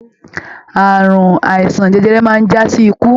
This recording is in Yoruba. Ààrùn àìsàn jẹjẹrẹ máa n jasi ikú.